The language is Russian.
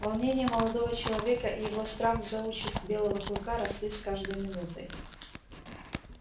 волнение молодого человека и его страх за участь белого клыка росли с каждой минутой